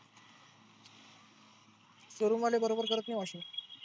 showroom वाले बरोबर करत नाही वाटतं.